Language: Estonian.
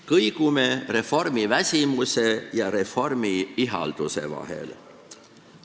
Kõigume reformiväsimuse ja reformiihalduse vahel.